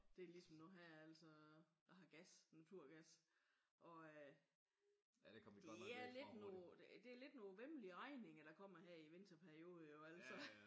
Det er ligesom nu her altså jeg har gas naturgas og øh det er lidt noget det er lidt nogle væmmelige regninger der kommer her i vinterperioden jo altså